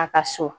A ka so